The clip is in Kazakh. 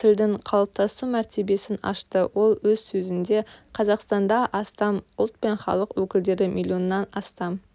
тілдің қалыптасу мәртебесін ашты ол өз сөзінде қазақстанда астам ұлт пен халық өкілдері миллионнан астам